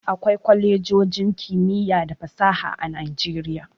Akwai kwalejojin kimiyya da fasaha a Nijeriya.